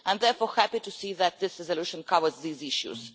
I am therefore happy to see that this resolution covers these issues.